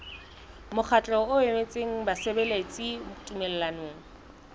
mokgatlo o emetseng basebeletsi tumellanong